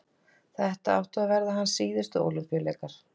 þetta áttu að vera hans síðustu ólympíuleikar